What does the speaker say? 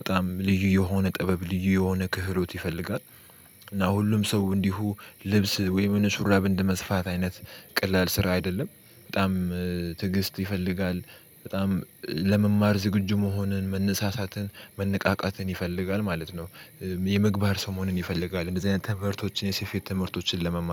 በጣም ልዩ የሆነ ጥበብ ልዩ የሆነ ክህሎት ይፈልጋል። እና ሁሉም ሰው እንዲሁ ልብስ ወይም የሆነ ሹራብ እንደ መስፋት አይነት ቀላል ስራ አይደለም በጣም ትዕግስት ይፈልጋል በጣም ለመማር ዝግጁ መሆንን መነሳሳትን መነቃቃትን ይፈልጋል ማለት ነው። የምግባር ሰው መሆን ይፈልጋል እንደዚህ አይነት ትምህርቶችን የሴፌት ትምህርቶችን ለመማር